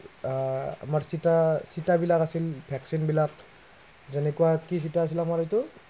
আহ আমাৰ চিটা, চিটাবিলাক আছিল vaccine বিলাক, যেনেকুৱা কি চিটা আছিল আমাৰ এইটো